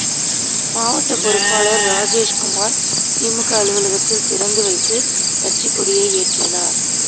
மாவட்ட பொறுப்பாளா் ராஜேஸ்குமாா் திமுக அலுவலகத்தை திறந்து வைத்து கட்சிக் கொடியை ஏற்றினாா்